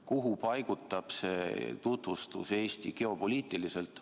Kuhu paigutab see tutvustus Eesti geopoliitiliselt?